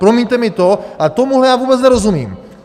Promiňte mi to, ale tomuhle já vůbec nerozumím!